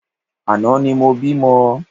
Àná ni mo bímọ